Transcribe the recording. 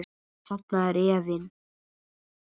Þarna er efinn.